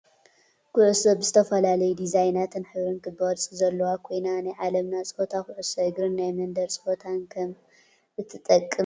ኩዕሶ ብዝተፈላለዩ ዲዛይናትን ሕብርን ክቢ ቅርፂ ዘለዋ ኮይና፣ ናይ ዓለምና ፀወታ ኩዕሶ እግርን ናይ መንደር ፀወታን ከም እትጠቅም ትፈልጡ ዶ?